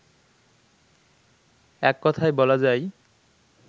এককথায় বলা যায়